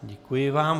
Děkuji vám.